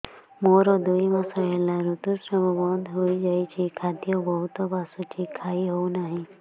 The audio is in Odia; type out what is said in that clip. ମୋର ଦୁଇ ମାସ ହେଲା ଋତୁ ସ୍ରାବ ବନ୍ଦ ହେଇଯାଇଛି ଖାଦ୍ୟ ବହୁତ ବାସୁଛି ଖାଇ ହଉ ନାହିଁ